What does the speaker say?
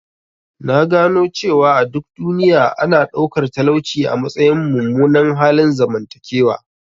Na gano cewa a duk duniya, ana ɗaukar talauci a matsayin mummunan halin zamantakewa.